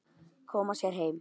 Koma sér heim.